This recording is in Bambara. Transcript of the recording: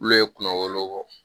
Olu ye kunna wolo bɔ